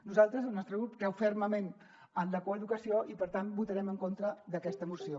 nosaltres el nostre grup creu fermament en la coeducació i per tant votarem en contra d’aquesta moció